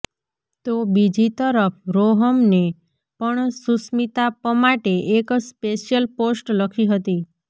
તો બીજી તરફ રોહમને પણ સુસ્મિતા પમાટે એક સ્પેશિયલ પોસ્ટ લખી હતી